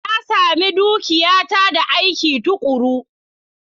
Na sami dukiyata da aiki tuƙuru.